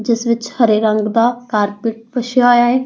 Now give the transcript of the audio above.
ਜਿਸ ਵਿੱਚ ਹਰੇ ਰੰਗ ਦਾ ਕਾਰਪੈਟ ਵਿਛਿਆ ਹੋਇਆ ਹੈ।